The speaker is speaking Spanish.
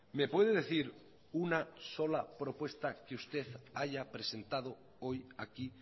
me puede decir una sola propuesta que usted haya presentado hoy aquí